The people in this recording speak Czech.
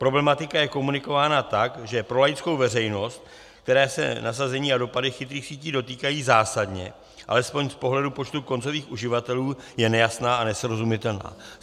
Problematika je komunikována tak, že pro laickou veřejnost, které se nasazení a dopady chytrých sítí dotýkají zásadně, alespoň z pohledu počtu koncových uživatelů, je nejasná a nesrozumitelná.